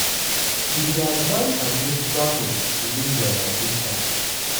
"we dey advise against travel to israel at dis time."